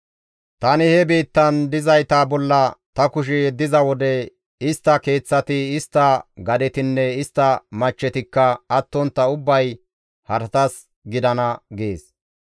Tani he biittan dizayta bolla ta kushe yeddiza wode istta keeththati, istta gadetinne istta machchetikka attontta ubbay haratas gidana» gees.